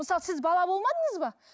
мысалы сіз бала болмадыңыз ба